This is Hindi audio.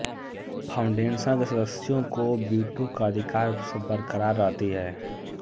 फाउंडेशन के सदस्यों को वीटो का अधिकार बरकरार रहती है